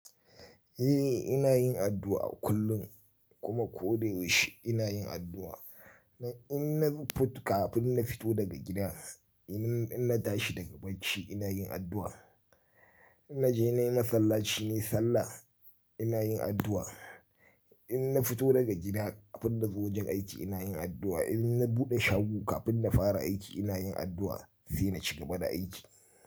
Eh ina yin addu'a kullum kuma ko da yaushe ina yin addu'a. In na fut kafin na fito daga gida, in na tashi daga bacci ina yin addu'a. In na je na yi masallaci, na yi sallah ina yin addu'a. In na fito daga gida kafin na zo wajen aiki ina yin addu'a. In na buɗe shago kafin na fara aiki ina yin addu'a sai na cika bada aiki.